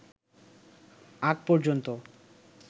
আগ পর্যন্ত